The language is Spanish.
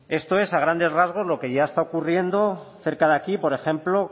esto es a grandes rasgos lo que ya está ocurriendo cerca de aquí por ejemplo